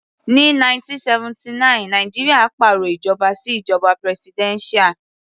Ní 1979 Nàìjíríà pàrọ̀ ìjọba sí ìjoba presidential.